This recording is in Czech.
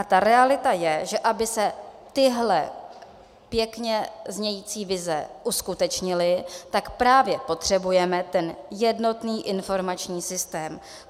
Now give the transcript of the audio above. A ta realita je, že aby se tyhle pěkně znějící vize uskutečnily, tak právě potřebujeme ten jednotný informační systém.